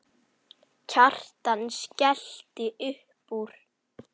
Kjartan skellti upp úr.